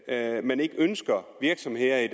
at man ikke ønsker virksomheder i